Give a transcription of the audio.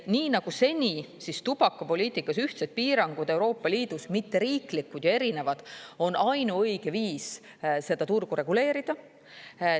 Nii nagu seni, tubakapoliitikas ühtsed piirangud, Euroopa Liidus mitteriiklikud ja erinevad, on ainuõige viis seda turgu reguleerida.